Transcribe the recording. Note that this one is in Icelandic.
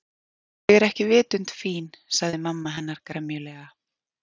Ég er ekki vitund fín sagði mamma hennar gremjulega.